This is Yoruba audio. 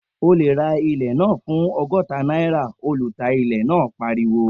O lè ra ilẹ̀ náà fún ọgọ́ta náírà, ọlùtà ilẹ̀ náà pariwo